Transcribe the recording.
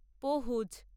পহুজ